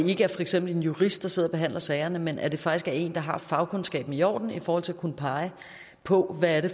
ikke er for eksempel en jurist der sidder og behandler sagerne men at det faktisk er en der har fagkundskaben i orden i forhold til at kunne pege på hvad det